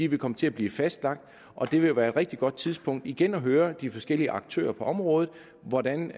vil komme til at blive fastlagt og det vil være et rigtig godt tidspunkt igen at høre de forskellige aktører på området hvordan